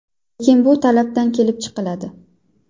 Lekin bu talabdan kelib chiqiladi.